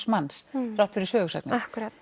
manns þrátt fyrir sögusagnir